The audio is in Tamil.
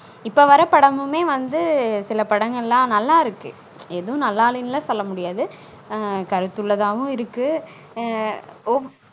இப்ப வர்ர படமுமே வந்து சில படங்களான் நல்லா இருக்கு எதுவும் நல்லா இல்லனு லான் சொல்ல முடியாது அன் கருத்து உள்ளதாவும் இருக்கு அன் ஒ